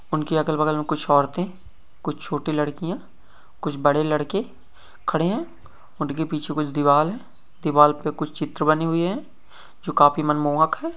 उनके अगल-बगल में कुछ औरतें कुछ छोटी लड़कियां कुछ बड़े लड़के खड़े है उनके पीछे कुछ दीवार है दीवार पे कुछ चित्र बने हुए है जो काफी मनमोहक है।